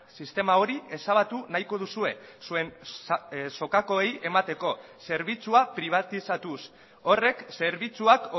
sistema hori ezabatu nahiko duzue zuen sokakoei emateko zerbitzua pribatizatuz horrek zerbitzuak